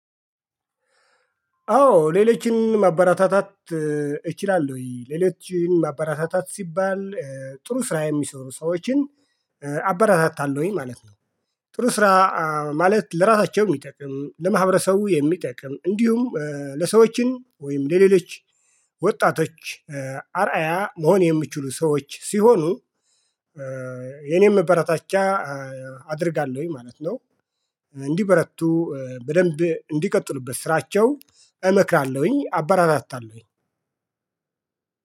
አዎ ሌሎችን ማበረታታት እችላለሁ ወይ? ሌሎችን ማበረታታት ሲባል ጥሩ ስራ የሚሰሩ ሰዎችን አበረታታለሁኝ ማለት ነው። ጥሩ ስራ ማለት ለራሳቸው የሚጠቅም ለማህበረሰቡ የሚጠቅም እንዲሁም ለሰዎችን ወይም ለሌሎች ወጣቶች አርአያ መሆን የሚችሉ ሰዎች ሲሆኑ የኔም መበረታቻ አደርጋለሁኝ ማለት ነው። እንዲበረቱ በደንብ እንዲቀጥሉበት ስራቸው እመክራለሁኝ አበረታታለሁኝ